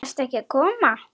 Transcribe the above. Ert ekki að koma?